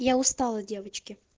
я устала девочки